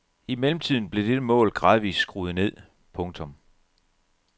I mellemtiden blev dette mål gradvist skruet ned. punktum